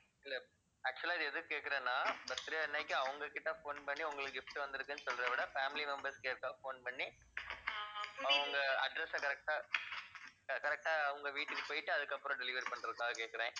இல்ல actual ஆ இது எதுக்கு கேட்குறேன்னா birthday அன்னைக்கு அவங்ககிட்ட phone பண்ணி உங்களுக்கு gift வந்திருக்குன்னு சொல்றதை விட family members யாருக்காவது phone பண்ணி அவங்க address அ correct ஆ அஹ் correct ஆ அவங்க வீட்டுக்கு போயிட்டு அதுக்கு அப்புறம் deliver பண்றதுக்காகக் கேட்கிறேன்.